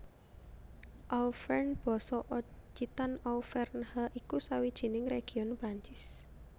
Auvergne basa Occitan Auvèrnha iku sawijining région Perancis